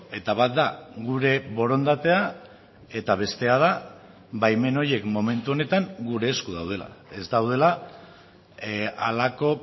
eta bat da gure borondatea eta bestea da baimen horiek momentu honetan gure esku daudela ez daudela halako